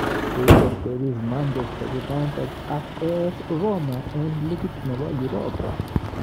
Koiterteris Manchesta United ak AS Roma eng ligit nebo Europa